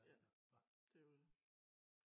Ja det jo dét